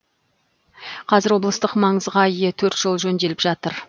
қазір облыстық маңызға ие төрт жол жөнделіп жатыр